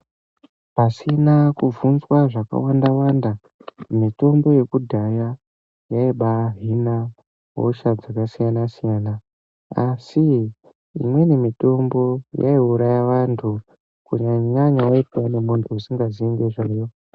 Pasina kubvunzwa zvakawanda Wanda, mitombo yekudhara, yaibahina hosha dzakasiyana siyana asi umweni mitombo yaiurauya antu kunyanya-nyanya kana wayipiwa nemuntu usinganyanyo ziye nezvayo.